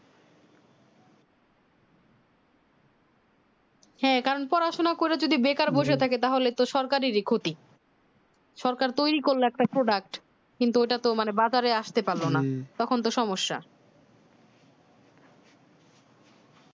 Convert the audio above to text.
হ্যাঁ কারণ পড়াশোনা করে যদি বেকার বসে থাকি তাহলে তো সরকারেরই ক্ষতি সরকার তৈরি করলে একটা product কিন্তু ওটা তো মানে বাজারে আসতে পারলো তখন তো সমস্যা